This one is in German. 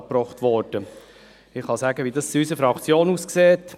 Ich kann sagen, wie es in unserer Fraktion aussieht.